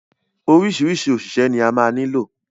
Oríṣiríṣi òṣìṣẹ́ ni ó ma nílò.